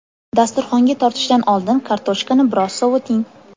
Dasturxonga tortishdan oldin kartoshkani biroz sovuting.